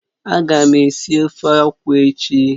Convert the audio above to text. Ága m esi ofe akwụ echi